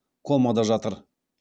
комада жатыр